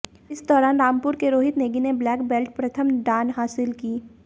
इस दौरान रामपुर के रोहित नेगी ने ब्लैक बैल्ट प्रथम डान हासिल की